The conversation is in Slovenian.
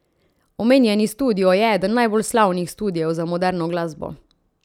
Omenjeni studio je eden najbolj slavnih studiev za moderno glasbo.